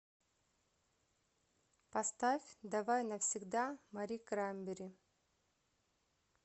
поставь давай навсегда мари краймбери